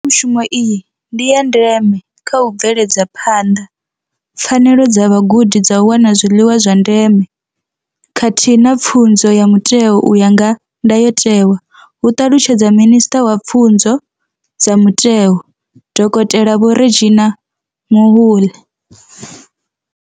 Mbekanya mushumo iyi ndi ya ndeme kha u bveledza phanḓa pfanelo dza vhagudi dza u wana zwiḽiwa zwa ndeme khathihi na pfunzo ya mutheo u ya nga ndayotewa, hu ṱalutshedza Minisṱa wa Pfunzo dza Mutheo, Dokotela Vho Reginah Mhaule.